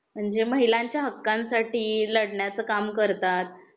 म्हणजे महिलांच्या हक्कां साठी लढण्या चे काम करतात